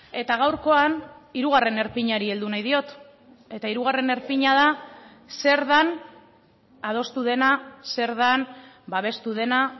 eta gaurkoan hirugarren erpinari heldu nahi diot eta hirugarren erpina da zer den adostu dena zer den babestu dena